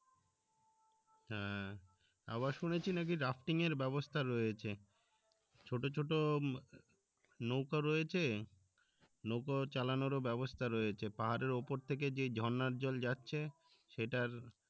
হ্যাঁ আবার শুনেছি নাকি rafting এর ব্যবস্থা রয়েছে ছোট ছোট নৌকা রয়েছে নৌকা চালানোর ও ব্যবস্থা রয়েছে পাহাড়ের উপর থেকে যে ঝর্ণার জল যাচ্ছে সেটার